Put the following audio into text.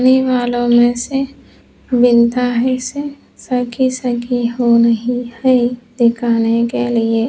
वालों में से विनता है सेसर की सगी हो रही है दिखाने के लिए --